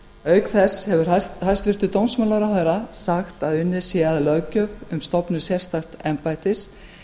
auk þess hefur hæstvirtur dómsmálaráðherra sagt að unnið sé að löggjöf um stofnun sérstaks embættis